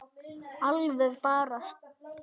Alveg bara súr